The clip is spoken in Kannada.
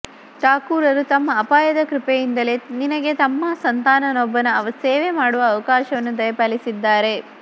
ಠಾಕೂರರು ತಮ್ಮ ಅಪಾಯ ಕೃಪೆಯಿಂದಲೆ ನಿನಗೆ ತಮ್ಮ ಸಂತಾನನೊಬ್ಬನ ಸೇವೆ ಮಾಡುವ ಅವಕಾಶವನ್ನು ದಯಪಾಲಸಿದ್ದಾರೆ